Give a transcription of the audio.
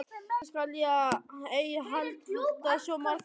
Eftir þetta skal ég ei halda svo marga heilaga daga.